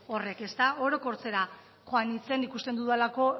horrek orokortzera joan nintzen ikusten dudalako